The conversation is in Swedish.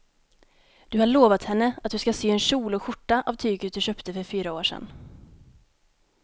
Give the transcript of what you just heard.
Du har lovat henne att du ska sy en kjol och skjorta av tyget du köpte för fyra år sedan.